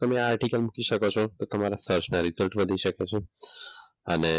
તમે આર્ટીકલ મૂકી શકો છો તો તમારા સર્ચના રીઝલ્ટ વધી શકે છે અને